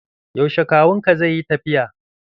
Yaushe kawun ka zai yi tafiya?